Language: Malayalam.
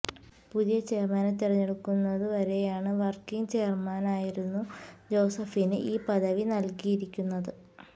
പുതിയ ചെയര്മാനെ തെരഞ്ഞെടുക്കുന്നതു വരെയാണ് വര്ക്കിങ് ചെയര്മാനായിരുന്നു ജോസഫിന് ഈ പദവി നല്കിയിരിക്കുന്നത്